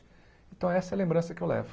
Então essa é a lembrança que eu levo.